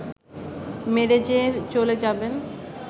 মেরে যে চলে যাবেন